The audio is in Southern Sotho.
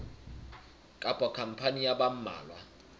kapa khampani ya ba mmalwa